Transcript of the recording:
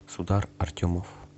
судар артемов